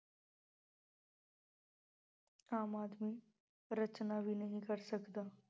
ਆਮ ਆਦਮੀਰਚਨਾ ਵੀ ਨਹੀਂ ਕਰ ਸਕਦਾ।